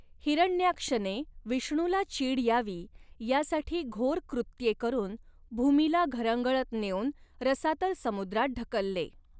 हिरण्याक्षने विष्णूला चीड यावी यासाठी घोर कृत्ये करुन भूमीला घरंगळत नेऊन रसातल समुद्रात ढकलले.